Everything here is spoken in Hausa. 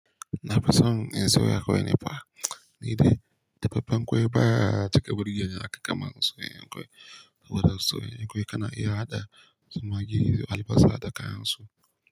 Na fi son in soya ƙwai ne fa, ni dai dafaffan ƙwai baya cika burgeni haka kaman soyayyan ƙwai. Saboda soyayyar kwaya kana iya haɗa zumage alifasa da kayansu.